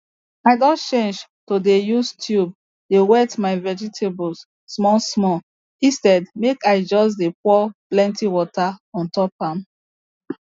i don change to dey use tube dey wet my vegetables small small instead make i just dey pour plenty water on top am